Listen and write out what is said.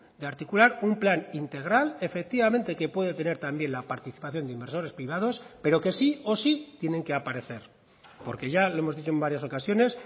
de articular un plan integral efectivamente que puede tener también la participación de inversores privados pero que sí o sí tienen que aparecer porque ya lo hemos dicho en varias ocasiones